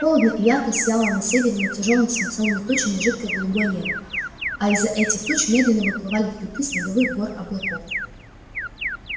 холодно и ярко сияло на севере над тяжёлыми свинцовыми тучами жидкое голубое небо а из-за этих туч медленно выплывали хребты снеговых гор-облаков